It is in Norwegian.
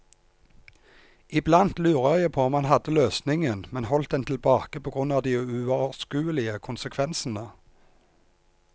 I blant lurer jeg på om han hadde løsningen, men holdt den tilbake på grunn av de uoverskuelige konsekvensene.